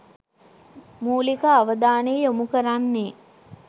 මූලික අවධානය යොමු කරන්නේ